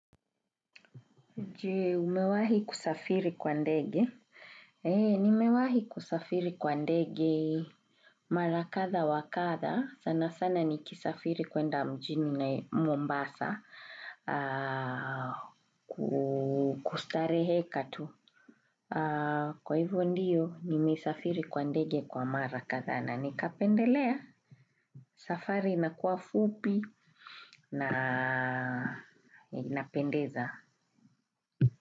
Je umewahi kusafiri kwa ndege? Eee, nimewahi kusafiri kwa ndege mara kadha wa kadha. Sana sana nikisafiri kuenda mjini na mombasa kustareheka tu. Kwa hivyo ndiyo, nimesafiri kwa ndege kwa mara kadhaa na nikapendelea. Safari inakuwa fupi na inapendeza.